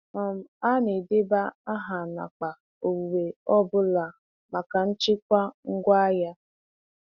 um Ha na-edeba aha n’akpa owuwe ọ bụla maka nchịkwa ngwaahịa.